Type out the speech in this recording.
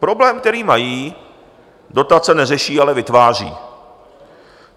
Problém, který mají, dotace neřeší, ale vytváří.